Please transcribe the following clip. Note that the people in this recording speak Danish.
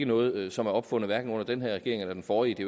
noget som er opfundet under hverken den her regering eller den forrige det